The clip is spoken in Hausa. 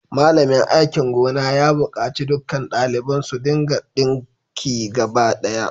Malamin aikin gona ya bukaci dukkan daliban su dinka dinki gaba daya